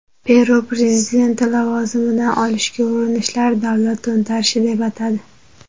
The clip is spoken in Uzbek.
Peru prezidenti lavozimidan olishga urinishlarni davlat to‘ntarishi deb atadi.